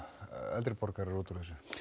eldri borgarar út úr þessu